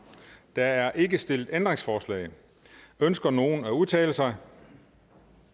der er ikke stillet ændringsforslag ønsker nogen at udtale sig